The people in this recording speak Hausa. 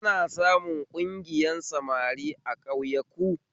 Ana samun ƙungiyar samari a ƙauyaku